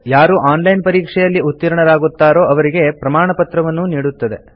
ಯಾರು online ಪರೀಕ್ಷೆಯಲ್ಲಿ ಉತ್ತೀರ್ಣರಾಗುತ್ತಾರೋ ಅವರಿಗೆ ಪ್ರಮಾಣಪತ್ರವನ್ನೂ ನೀಡುತ್ತದೆ